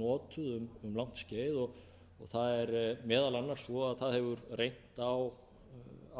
notuð um langt skeið og það er meðal annars svo að það hefur reynt á